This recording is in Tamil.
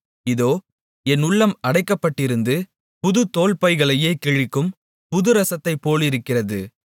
இதோ என் உள்ளம் அடைக்கப்பட்டிருந்து புது தோல்பைகளையே கிழிக்கும் புதுரசத்தைப் போலிருக்கிறது